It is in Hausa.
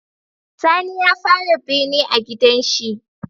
Sani ya fara bene a gidan shi